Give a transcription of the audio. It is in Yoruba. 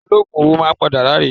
Ológùn owó máa padà ráre